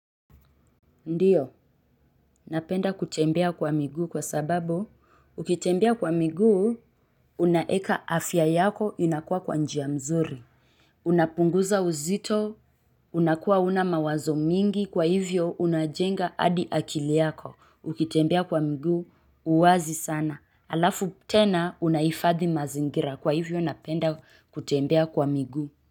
Ndiyo, napenda kutembea kwa miguu kwa sababu, ukitembea kwa miguu, unaeka afya yako inakuwa kwa njia mzuri. Unapunguza uzito, unakua huna mawazo mingi, kwa hivyo unajenga adi akili yako, ukitembea kwa miguu, uwazi sana. Alafu tena, unahifadhi mazingira, kwa hivyo napenda kutembea kwa miguu.